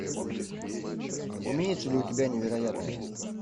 имеется ли у тебя невероятное